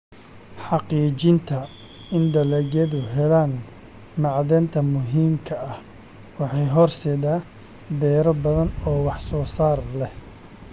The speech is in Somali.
Xaqiijinta in dalagyadu helaan macdanta muhiimka ah waxay horseedaa beero badan oo wax soo saar leh.